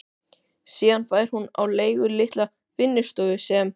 Síðan fær hún á leigu litla vinnustofu sem